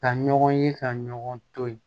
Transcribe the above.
Ka ɲɔgɔn ye ka ɲɔgɔn to ye